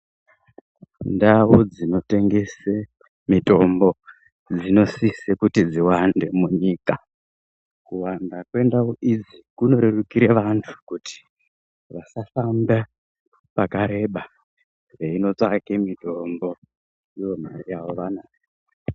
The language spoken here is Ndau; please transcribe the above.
Ndau dzinotengese mitombo, dzinosise kuti dziwande munyika. Kuwanda mwendau idzi kunorerukire vantu, kuti vasafambe pakareba, veinotsvake mitombo, ivo mare yavo vanayo.